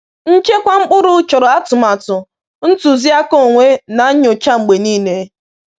Nchekwa mkpụrụ chọrọ atụmatụ, ntụzịaka onwe, na nnyocha mgbe niile